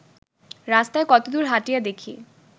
রাস্তায় কতদূর হাঁটিয়া দেখি